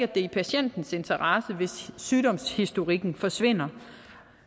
det er i patientens interesse at sygdomshistorikken forsvinder